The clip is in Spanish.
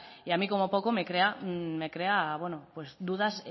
y a mí como poco me crea dudas